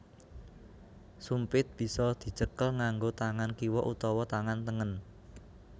Sumpit bisa dicekel nganggo tangan kiwa utawa tangan tengen